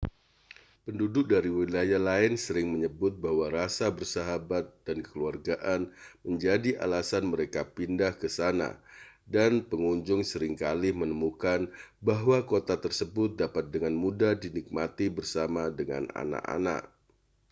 penduduk dari wilayah lain sering menyebut bahwa rasa bersahabat dan kekeluargaan menjadi alasan mereka pindah ke sana dan pengunjung seringkali menemukan bahwa kota tersebut dapat dengan mudah dinikmati bersama dengan anak-anak